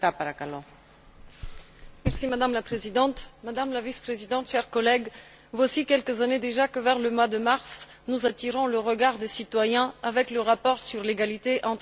Madame la Présidente, Madame la Vice présidente, chers collègues, voici quelques années déjà que, vers le mois de mars, nous attirons le regard des citoyens avec le rapport sur l'égalité entre les femmes et les hommes dans l'Union européenne.